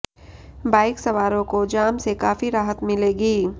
bike सवारों को जाम से काफी राहत मिलेगी